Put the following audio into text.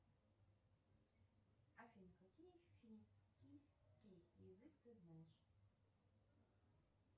афина какие финикийский язык ты знаешь